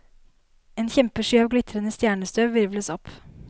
En kjempesky av glitrende stjernestøv hvirvles opp.